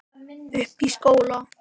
Uppi í skóla.